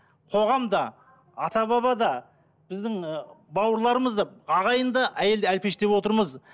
қоғам да ата баба да біздің ы бауырларымыз да ағайын да әйелді әлпештеп отырмыз